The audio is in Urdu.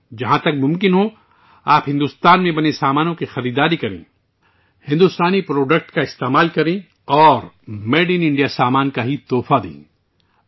جہاں تک ممکن ہو، آپ کو بھارت میں تیار کردہ سامان خریدنا چاہیے، بھارتی مصنوعات کا استعمال کرنا چاہیے اور میڈ ان انڈیا سامان تحفے میں دینا چاہیے